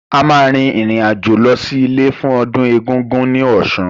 A máa rìn rìn àjò lọ sí ilé fún ọdún Egungun ní Ọ̀ṣun